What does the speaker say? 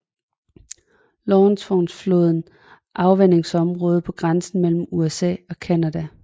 Lawrenceflodens afvandingsområde på grænsen mellem USA og Canada